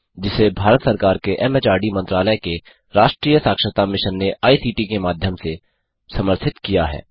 जिसे भारत सरकार के एमएचआरडी मंत्रालय के राष्ट्रीय साक्षरता मिशन ने आई सीटी के माध्यम से समर्थित किया है